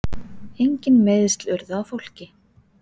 Engin meiðsl urðu á fólki.